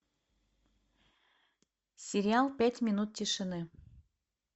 сериал пять минут тишины